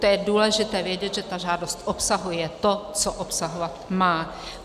- To je důležité vědět, že ta žádost obsahuje to, co obsahovat má.